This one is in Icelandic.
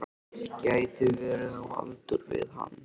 Gæti verið á aldur við hann.